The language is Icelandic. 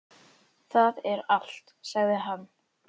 Það er allt, sagði hann.